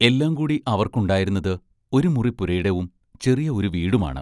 എല്ലാം കൂടി അവർക്കുണ്ടായിരുന്നത് ഒരു മുറി പുരയിടവും ചെറിയ ഒരു വീടുമാണ്.